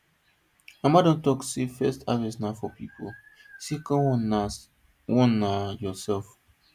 mama don talk am say first harvest na for people second one na one na your self